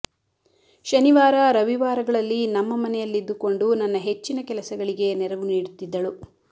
ಶನಿವಾರ ರವಿವಾರಗಳಲ್ಲಿ ನಮ್ಮ ಮನೆಯಲ್ಲಿದ್ದುಕೊಂಡು ನನ್ನ ಹೆಚ್ಚಿನ ಕೆಲಸಗಳಿಗೆ ನೆರವು ನೀಡುತ್ತಿದ್ದಳು